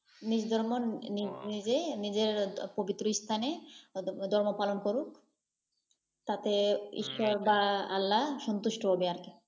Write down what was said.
নিজ ধর্ম, নিজেই নিজের পবিত্র স্থানে ধর্ম পালন করুক, তাতে ঈশ্বর বা আল্লা সন্তুষ্ট হবে আর কি।